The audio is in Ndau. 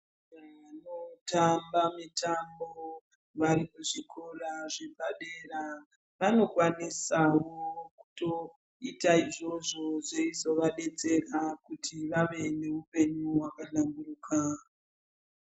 Vanotamba mitambo vari kuzvikora zvepadera vanokwanisawo kutoita izvozvo zveizovadetsera kuti vave neupenyu hwakahlamburuka.